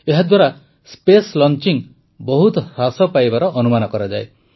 ଏହାଦ୍ୱାରା ସ୍ପେସ୍ଲଚିଂ ବହୁତ ହ୍ରାସ ପାଇବାର ଅନୁମାନ କରାଯାଏ